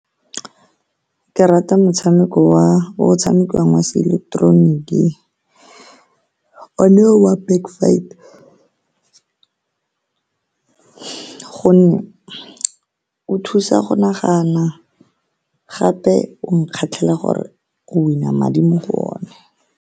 Ke rata motshameko wa o tshamekiwang wa seileketeroniki, o ne ke wa Back Fight ka gonne o thusa go nagana gape o nkgatlhela gore o win-na madi mo go one.